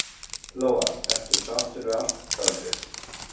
Lóa: Ertu sáttur við ástandið?